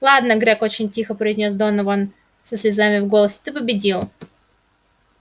ладно грег очень тихо произнёс донован со слезами в голос ты победил